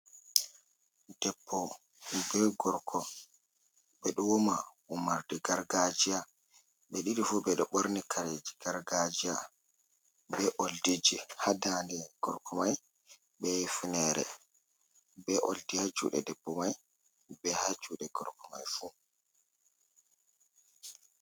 Debbo bee gorko ɓe ɗo wama, wamarde gargaajiya. Ɓe ɗiɗi fu ɓe ɗo ɓorni kareeji gargaajiya, bee ooldiji ha daande gorko may bee funeere, bee ooldi ha juuɗe debbo may bee ha juuɗe gorko may fu.